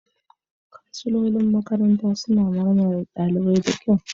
Kansilolin makaranta suna magana da ɗalibai da kyau.